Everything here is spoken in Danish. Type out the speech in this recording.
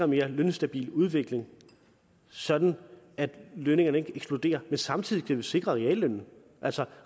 mere lønstabil udvikling sådan at lønningerne ikke eksploderer samtidig vi sikre reallønnen altså